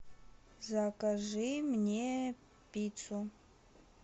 закажи мне пиццу